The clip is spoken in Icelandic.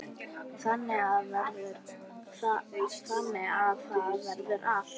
Þannig að það verður alltaf.